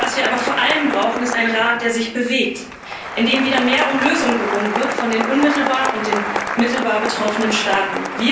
Was wir aber vor allem brauchen, ist ein Rat, der sich bewegt, in dem wieder mehr um Lösungen gerungen wird von den unmittelbar und den mittelbar betroffenen Staaten.